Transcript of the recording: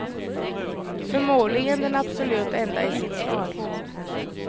Förmodligen den absolut enda i sitt slag.